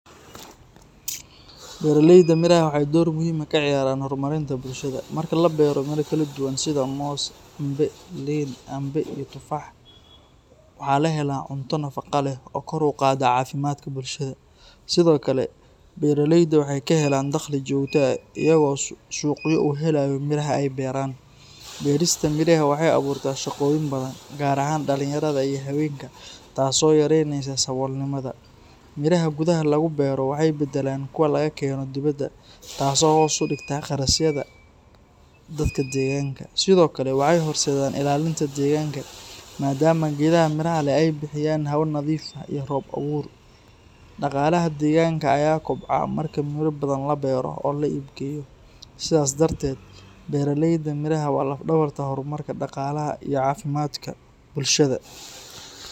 Beeraleyda miraha waxay door muhiim ah ka ciyaaraan horumarinta bulshada. Marka la beero miro kala duwan sida moos, cambe, liin, canbe, iyo tufaax, waxaa la helaa cunto nafaqo leh oo kor u qaadda caafimaadka bulshada. Sidoo kale, beeralayda waxay ka helaan dakhli joogto ah iyagoo suuqyo u helaya miraha ay beeraan. Beerista miraha waxay abuurtaa shaqooyin badan, gaar ahaan dhalinyarada iyo haweenka, taasoo yareynaysa saboolnimada. Miraha gudaha lagu beero waxay beddelaan kuwa laga keeno dibadda, taasoo hoos u dhigta kharashyada dadka deegaanka. Sidoo kale, waxay horseedaan ilaalinta deegaanka maadaama geedaha miraha leh ay bixiyaan hawo nadiif ah iyo roob-abuur. Dhaqaalaha deegaanka ayaa kobca marka miro badan la beero oo la iibgeeyo. Sidaas darteed, beeraleyda miraha waa laf-dhabarta horumarka dhaqaalaha iyo caafimaadka bulshada.